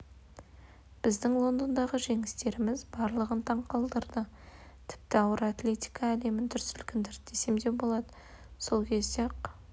біздің лондондағы жеңістеріміз барлығын таң қалдырды тіпті ауыр атлетика әлемін дүр сілкіндірді десем болады сол кезде-ақ